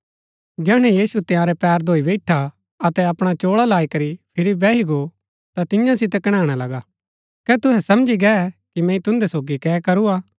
जैहणै यीशु तंयारै पैर धोई बैईठा अतै अपणा चोळा लाई करी फिरी बैही गो ता तियां सितै कणैणा लगा कै तूहै समझी गै कि मैंई तून्दै सोगी कै करूआ